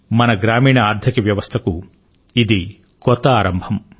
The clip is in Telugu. మన గ్రామీణ ఆర్థిక వ్యవస్థకు ఇది కొత్త ఆరంభం